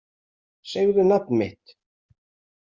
Segðu nafn mitt